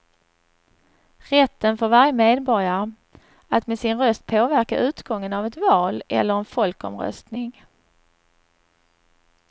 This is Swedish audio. Rätten för varje medborgare att med sin röst påverka utgången av ett val eller en folkomröstning.